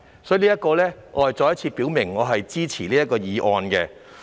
所以，我再次表明我支持通過《條例草案》。